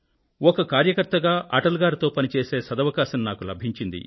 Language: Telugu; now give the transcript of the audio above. ఒక కార్యకర్త గా అటల్ గారితో పనిచేసే సదవకాశం నాకు లభించింది